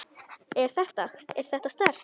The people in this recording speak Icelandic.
Er þetta. er þetta sterkt?